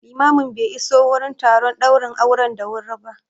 Limamin be iso wurin taron ɗaurin auren da wuri ba